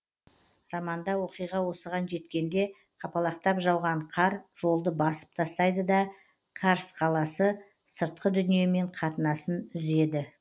романда оқиға осыған жеткенде қапалақтап жауған қар жолды басып тастайды да карс қаласы сыртқы дүниемен қатынасын үзеді